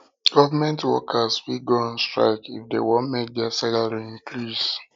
government workers fit go on strike if dem won make their salary increase